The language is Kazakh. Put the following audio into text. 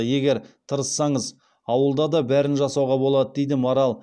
егер тырыссаңыз ауылда да бәрін жасауға болады дейді марал